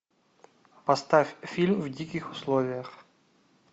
поставь фильм в диких условиях